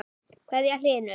kveðja, Hlynur.